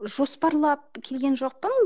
жоспарлап келген жоқпын